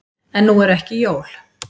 En nú eru ekki jól.